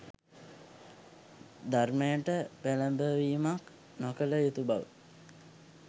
ධර්මයට පෙලඹවීමක් නොකල යුතුබව.